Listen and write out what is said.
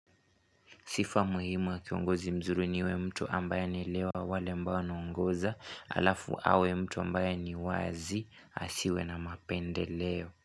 Sifa muhimu wa kiongozi mzuri niwe mtu ambaye anelewa wale ambao anaongoza alafu awe mtu ambaye ni wazi asiwe na mapende leo.